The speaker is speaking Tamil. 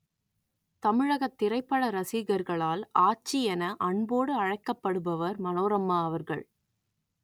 தமிழகத் திரைப்பட ரசிகர்களால் ஆச்சி என அன்போடு அழைக்கப்படுபவர் மனோரமா அவர்கள்